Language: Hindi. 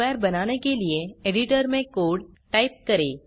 स्क्वेयर बनाने के लिए एडिटर में कोड़ टाइप करें